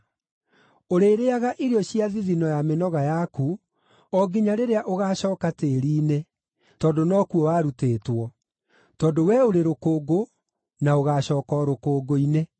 Ũrĩrĩĩaga irio cia thithino ya mĩnoga yaku, o nginya rĩrĩa ũgaacooka tĩĩri-inĩ, tondũ nokuo warutĩtwo; tondũ wee ũrĩ rũkũngũ na ũgaacooka o rũkũngũ-inĩ.”